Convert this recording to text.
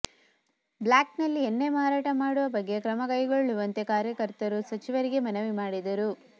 ಬ್ಲಾಕ್ನಲ್ಲಿ ಎಣ್ಣೆ ಮಾರಾಟ ಮಾಡುವ ಬಗ್ಗೆ ಕ್ರಮಗೈಗೊಳ್ಳುವಂತೆ ಕಾರ್ಯಕರ್ತರು ಸಚಿವರಿಗೆ ಮನವಿ ಮಾಡಿದರು